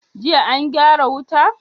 Jiya an gyara wuta?